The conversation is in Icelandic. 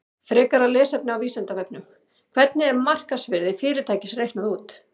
Frekara lesefni á Vísindavefnum: Hvernig er markaðsvirði fyrirtækis reiknað út?